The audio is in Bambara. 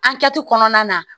An kɛti kɔnɔna na